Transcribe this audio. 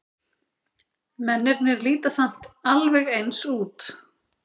Mennirnir líta samt alveg eins út.